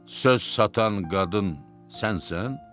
Söz satan qadın sənsən?